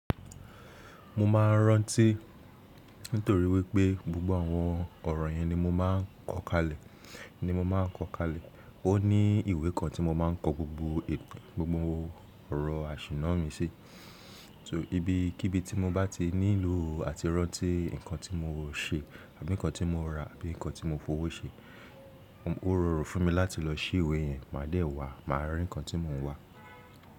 Mo ma rántí nítorí wípé gbogbo àwọn ọ̀rọ̀ yẹn ni mo máa ń kọ́ kalẹ̀, ni mo máa ń kọ́ kalẹ̀. Ó ní ìwé kan tí mo máa ń kọ gbogbo ètò, gbogbo ọ̀rọ̀ àsìnà mi sí. So ibi, kíbi tí mo bá ti nílò àti rántí nǹkan tí mo ṣe àbí nǹkan tí mo ra àbí nǹkan tí mo fowó ṣe, ó rọrùn fún mi láti lọ sí ìwé yẹn mádẹ̀ẹ́ wà á, máa rí nǹkan tí mò ń wà.